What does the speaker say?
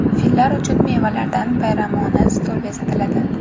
Fillar uchun mevalardan bayramona stol bezatiladi.